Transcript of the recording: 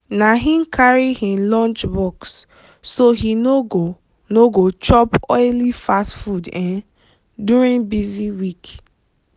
na he carry him lunchbox so he no go no go chop oily fast food um during busy week.